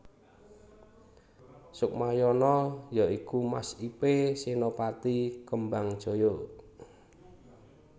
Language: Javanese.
Sukmayana ya iku mas ipe Senopati Kembangjaya